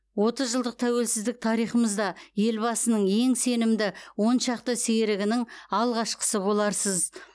отыз жылдық тәуелсіздік тарихымызда елбасының ең сенімді оншақты серігінің алғашқысы боларсыз